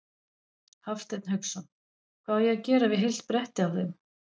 Hafsteinn Hauksson: Hvað á að gera við heilt bretti af þeim?